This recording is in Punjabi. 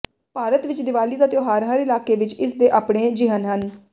ਭਾਰਤ ਵਿਚ ਦੀਵਾਲੀ ਦਾ ਤਿਉਹਾਰ ਹਰ ਇਲਾਕੇ ਵਿਚ ਇਸ ਦੇ ਆਪਣੇ ਿਜਹਨ ਹਨ